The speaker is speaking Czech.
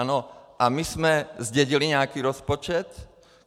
A my jsme zdědili nějaký rozpočet.